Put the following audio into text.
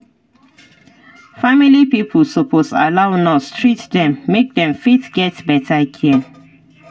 family pipo suppose allow nurse treat them make dem fit get better care